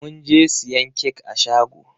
Mun je siyan kek a shagon.